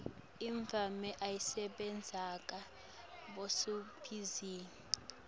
emave ayabasekela bosomabhizinisi